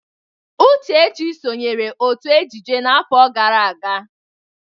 Uchechi sonyeere otu ejije n'afọ gara aga.